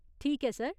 ठीक ऐ, सर।